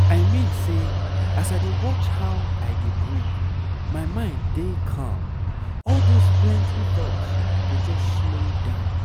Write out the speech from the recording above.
i mean say as i dey watch how i dey breathe my mind dey calm all those plenty thoughts go just slow down